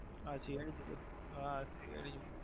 હા CID જોતો હા જોતો